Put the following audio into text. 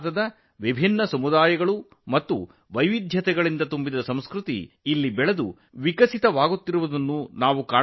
ವಿವಿಧ ಸಮುದಾಯಗಳು ಮತ್ತು ವೈವಿಧ್ಯತೆಯಿಂದ ಕೂಡಿರುವ ಇಲ್ಲಿ ಭಾರತದ ಸಂಸ್ಕೃತಿಯು ಪ್ರವರ್ಧಮಾನಕ್ಕೆ ಬಂದಿರುವುದನ್ನು ಕಾಣಬಹುದು